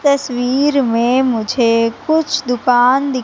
तस्वीर में मुझे कुछ दुकान दी--